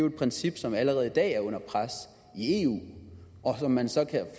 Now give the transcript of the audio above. et princip som jo allerede i dag er under pres i eu og som man så kan